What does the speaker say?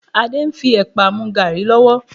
Adé ń fi ẹ̀pà mú gàárì lọ́wọ́